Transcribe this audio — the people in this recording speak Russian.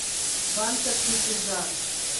банка крепежа